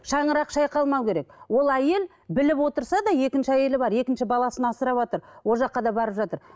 шаңырақ шайқалмау керек ол әйел біліп отырса да екінші әйелі бар екінші баласын асыраватыр ол жаққа да барып жатыр